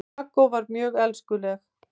Kókó var mjög elskuleg.